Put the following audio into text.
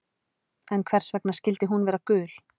En hvers vegna skyldi hún vera gul?